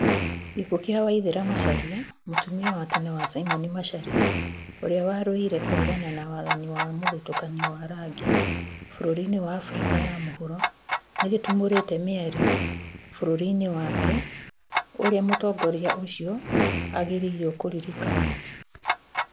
Gĩkũũ kĩa Waithera Macharia, mũtumĩa wa tene wa Simon Macharia, ũrĩa warũĩire kũregana na wathani wa mũthutũkanio wa rangi bũrũri-inĩ wa Afrika ya mũhuro, nĩgĩtumũrĩte mĩario bũrũri-inĩ wake ũrĩa mũtongoria ũcio agĩrĩirwo kũririkanwo